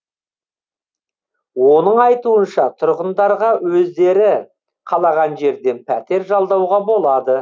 оның айтуынша тұрғындарға өздері қалаған жерден пәтер жалдауға болады